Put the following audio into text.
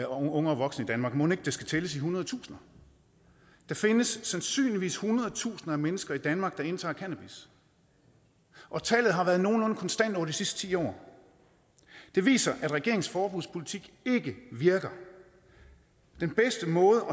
unge og voksne i danmark mon ikke det så skal tælles i hundredtusinder der findes sandsynligvis hundredtusinder af mennesker i danmark der indtager cannabis og tallet har været nogenlunde konstant over de sidste ti år det viser at regeringens forbudspolitik ikke virker den bedste måde